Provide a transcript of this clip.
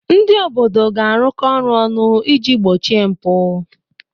Ndị obodo ga-arụkọ ọrụ ọnụ iji gbochie mpụ.